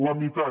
la meitat